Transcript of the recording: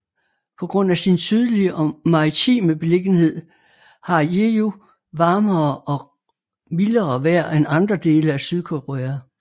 På grund af sin sydlige og maritime beliggenhed har Jeju varmere og mildere vejr end andre dele af Sydkorea